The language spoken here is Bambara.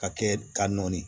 Ka kɛ ka nɔni